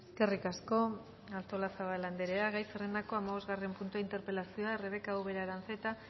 eskerrik asko artolazabal andrea gai zerrendako hamabosgarren puntua interpelazioa rebeka ubera aranzeta